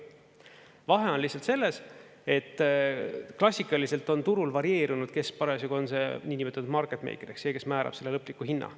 Vahe on lihtsalt selles, et klassikaliselt on turul varieerunud, kes parasjagu on see niinimetatud marketmeiker ehk see, kes määrab selle lõpliku hinna.